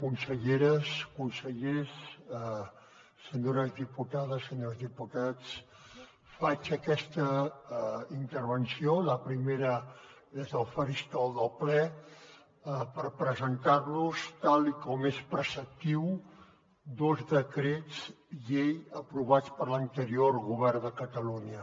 conselleres consellers senyores diputades senyors diputats faig aquesta intervenció la primera des del faristol del ple per presentar los tal com és preceptiu dos decrets llei aprovats per l’anterior govern de catalunya